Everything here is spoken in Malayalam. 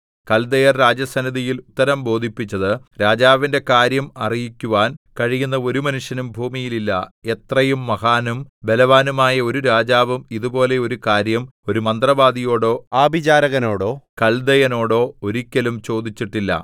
കല്ദയർ രാജസന്നിധിയിൽ ഉത്തരം ബോധിപ്പിച്ചത് രാജാവിന്റെ കാര്യം അറിയിക്കുവാൻ കഴിയുന്ന ഒരു മനുഷ്യനും ഭൂമിയിൽ ഇല്ല എത്രയും മഹാനും ബലവാനുമായ ഒരു രാജാവും ഇതുപോലെ ഒരു കാര്യം ഒരു മന്ത്രവാദിയോടോ ആഭിചാരകനോടോ കല്ദയനോടോ ഒരിക്കലും ചോദിച്ചിട്ടില്ല